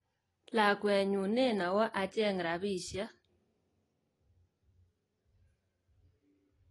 Lakwenyun nen owo acheng rabishek.